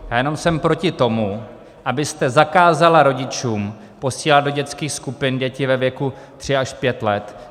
Já jenom jsem proti tomu, abyste zakázala rodičům posílat do dětských skupin děti ve věku tři až pět let.